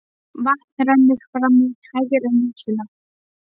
Vatn rennur fram í hægri nösina.